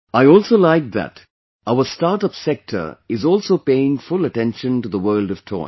I also liked that, our startup sector is also paying full attention to the world of toys